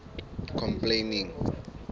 complaining